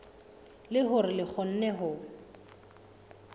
le hore re kgone ho